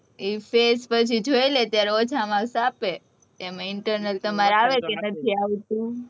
એ face પછી જોઈલે ત્યારે ઓછા marks આપે. એમાં internal તમારે આવે કે નથી આવતી?